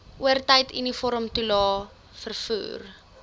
oortyd uniformtoelae vervoer